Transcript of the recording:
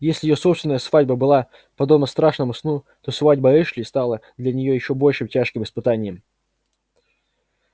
если её собственная свадьба была подобна страшному сну то свадьба эшли стала для нее ещё более тяжким испытанием